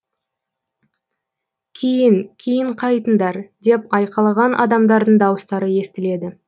кейін кейін қайтыңдар деп айқайлаған адамдардың дауыстары естіледі